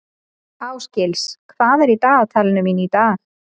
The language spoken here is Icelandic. Ásgils, hvað er í dagatalinu mínu í dag?